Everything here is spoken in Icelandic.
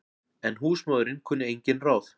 En húsmóðirin kunni engin ráð.